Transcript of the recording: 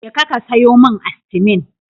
Jeka ka sayo min Astimin.